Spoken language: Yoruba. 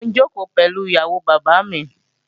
Mò ń jòkó pẹ̀lú ìyàwó bàbá mi